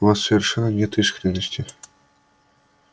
в вас совершенно нет искренности